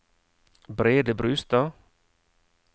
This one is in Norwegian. Brede Brustad